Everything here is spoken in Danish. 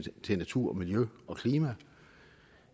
til natur og miljø og klima